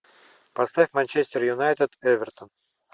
поставь манчестер юнайтед эвертон